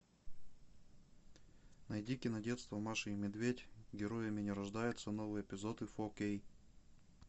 найди кинодетство маша и медведь героями не рождаются новые эпизоды фо кей